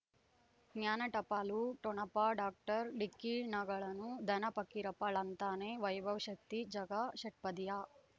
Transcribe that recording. ಜ್ಞಾನ ಟಪಾಲು ಠೊಣಪ ಡಾಕ್ಟರ್ ಢಿಕ್ಕಿ ಣಗಳನು ಧನ ಪಕೀರಪ್ಪ ಳಂತಾನೆ ವೈಭವ್ ಶಕ್ತಿ ಝಗಾ ಷಟ್ಪದಿಯ